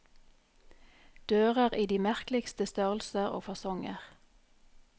Dører i de merkeligste størrelser og fasonger.